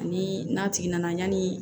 Ani n'a tigi nana yanni